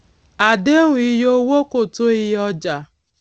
àdéhùn iye owó kò tó iyé ọjà